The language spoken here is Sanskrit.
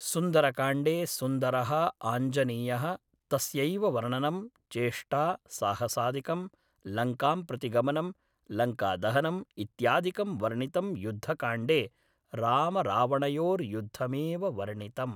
सुन्दरकाण्डे सुन्दरः आञ्जनेयः तस्यैव वर्णनं, चेष्टा, साहसादिकं, लङ्कां प्रति गमनं, लङ्कादहनम् इत्यादिकं वर्णितम् युद्धकाण्डे रामरावणयोर्युद्धमेव वर्णितम्